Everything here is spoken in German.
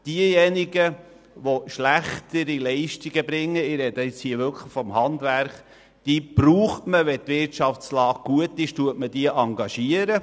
Diejenigen, die schlechte Leistungen erbringen – und ich rede jetzt vom Handwerk –, braucht man bei guter Wirtschaftslage, in welcher sie engagiert werden.